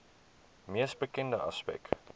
mees bekende aspek